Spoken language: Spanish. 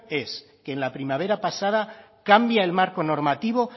es que en la primavera pasada cambia el marco normativo